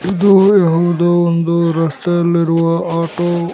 ಇದು ಹೌದು ಒಂದು ರಸ್ತೆ ಅಲ್ಲಿರುವ ಆಟೋ .